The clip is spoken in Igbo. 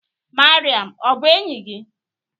Mariam ọ bụ enyi gị?